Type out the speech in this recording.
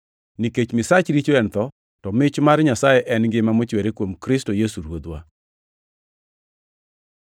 Nikech misach richo en tho, to mich mar Nyasaye en ngima mochwere kuom Kristo Yesu Ruodhwa.